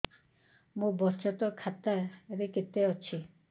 ମୋ ବଚତ ଖାତା ରେ କେତେ ଅଛି